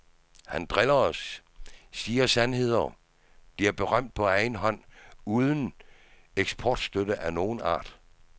Han driller os, siger sandheder bliver berømt på egen hånd uden eksportstøtte af nogen art.